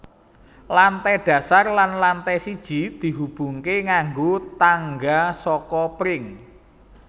Lantai dasar dan lantai siji dihubungke nganggo tangga saka pring